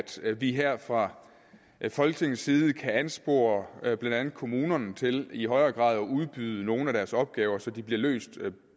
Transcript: vi her fra folketingets side kan anspore blandt andet kommunerne til i højere grad at udbyde nogle af deres opgaver så de bliver løst